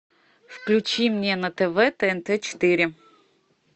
включи мне на тв тнт четыре